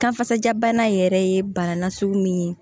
Kan kasajabana in yɛrɛ ye bana nasugu min ye